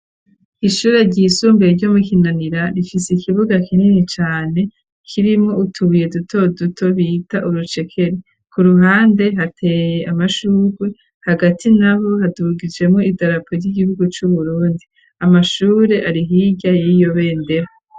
Ishure ryisumbeye ryo mu Kinanira rifise ikibuga kinini cane kirimwo utubuye duto duto bita urucekeri ku ruhande hateye amashurwe hagati naho hadugijemwo idarapo ry'igihugu cu Burundi amashurwe ari hirya yiryo bendera.